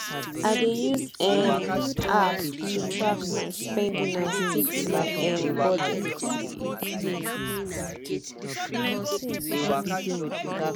i dey use um app to track my spending and stick to my um budget